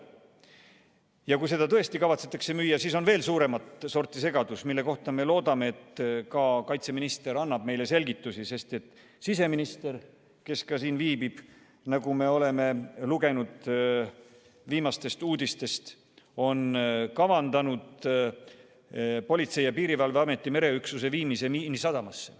Ja kui seda tõesti kavatsetakse müüa, siis on suuremat sorti segadus, mille kohta me loodame, et kaitseminister annab meile selgitusi, sest siseminister, kes ka siin viibib, on kavandanud, nagu me lugesime viimastest uudistest, Politsei- ja Piirivalveameti mereüksuse viimise Miinisadamasse.